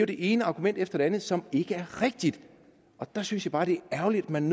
det ene argument efter det andet som ikke er rigtigt der synes jeg bare det er ærgerligt at man